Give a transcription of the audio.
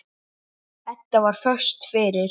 Edda var föst fyrir.